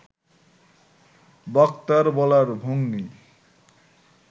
বক্তার বলার ভঙ্গি